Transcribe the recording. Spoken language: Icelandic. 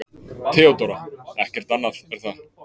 THEODÓRA: Ekkert annað, er það?